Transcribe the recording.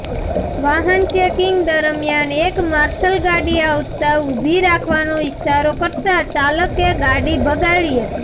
વાહન ચેકિંગ દરમ્યાન એક માર્શલ ગાડી આવતાં ઊભી રાખવાનો ઈશારો કરતાં ચાલકે ગાડી ભગાડી હતી